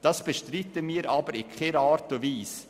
Das bestreiten wir in keiner Art und Weise.